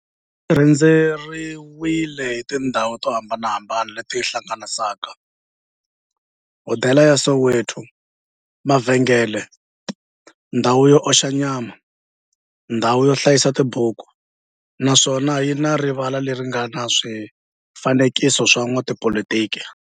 xi rhendzeriwile hi tindhawu to hambanahambana le ti hlanganisaka, hodela ya Soweto-mavhengele-ndhawu yo oxa nyama-ndhawu yo hlayisa tibuku, naswona yi na rivala le ri nga na swifanekiso swa vo n'watipolitiki.